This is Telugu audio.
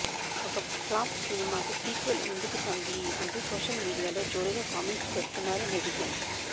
ఒక ఫ్లాప్ సినిమాకు సీక్వెల్ ఎందుకు తంబి అంటూ సోషల్ మీడియాలో జోరుగా కామెంట్స్ పెడుతున్నారు నెటిజన్స్